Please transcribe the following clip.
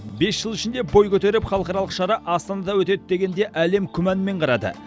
бес жыл ішінде бой көтеріп халықаралық шара астанада өтеді дегенде әлем күмәнмен қарады